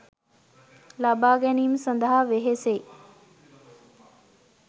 ලබා ගැනීම සඳහා වෙහෙසෙයි.